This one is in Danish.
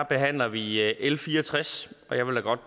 behandler vi l fire og tres og jeg vil da godt